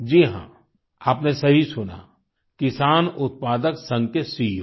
जी हाँ आपने सही सुना किसान उत्पादक संघ के सीईओ